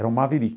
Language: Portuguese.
Era um Maverick.